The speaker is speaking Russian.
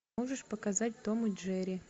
можешь показать том и джерри